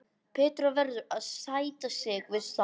Petra verður að sætta sig við það.